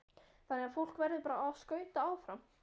Þannig að fólk verður bara að skauta áfram?